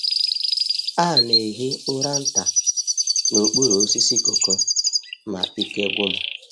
A na-ehi ụra nta n’okpuru osisi cocoa ma ike gwụ m.